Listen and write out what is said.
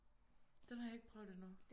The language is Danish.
Den har jeg ikke prøvet endnu